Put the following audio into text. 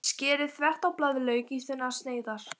Skerið þvert á blaðlauk í þunnar sneiðar.